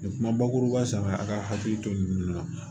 Nin kuma bakuruba san a ka hakili to nin de la